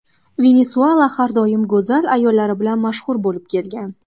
Venesuela har doim go‘zal ayollari bilan mashhur bo‘lib kelgan.